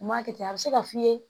U m'a kɛ ten a bɛ se ka f'i ye